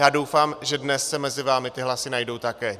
Já doufám, že dnes se mezi vámi ty hlasy najdou také.